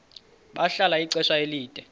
bahlala ixesha elide